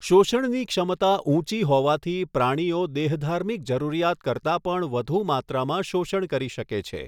શોષણની ક્ષમતા ઊંચી હોવાથી પ્રાણીઓ દેહધાર્મિક જરૂરિયાત કરતા પણ વધુ માત્રામાં શોષણ કરી શકે છે.